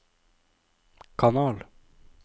kanal